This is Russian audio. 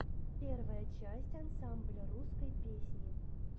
первая часть ансамбля русской песни